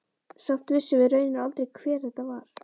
Samt vissum við raunar aldrei hver þetta var.